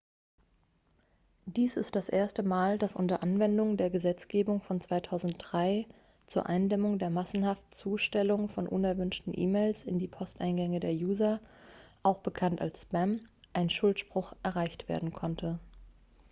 dies ist das erste mal dass unter anwendung der gesetzgebung von 2003 zur eindämmung der massenhaften zustellung von unerwünschten e-mails in die posteingänge der user auch bekannt als spam ein schuldspruch erreicht werden konnte